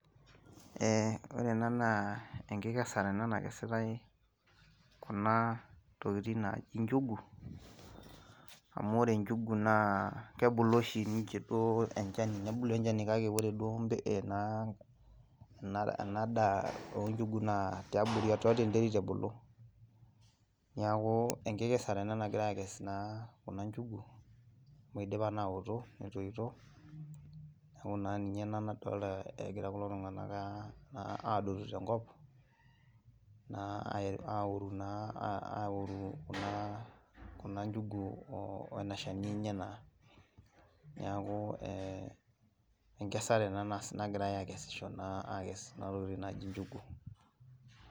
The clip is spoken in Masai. Eeh ore ena naa enkikesare ena nakesitai kunaa tokitin naaji njugu. Amu ore njugu naa kebulu oshi ninche duoo enchani, nebulu enchani kake koreduo naa enadaa oonjugu naa tiabori tiatua enterit ebulu. Neaku enkikesare ena naagirai aakes naa kuna  njugu amu eidipa naa aaoto neitoito neaku naa ninye ena nadolta egira kulo tung'anak [aa] aadotu tenkop naa aoru naa aoru kunaa njugu oena shani enye naa. Neakuu eeh enkesare ena nagirai akesisho naa akes kuna tokitin naaji njugu.